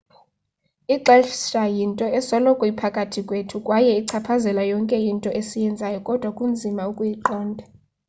ixesha yinto esoloko iphakathi kwethu kwaye ichaphazela yonke into esiyenzayo kodwa kunzima ukuyiqonda